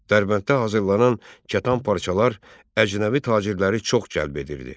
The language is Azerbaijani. Dərbənddə hazırlanan kətan parçalar əcnəbi tacirləri çox cəlb edirdi.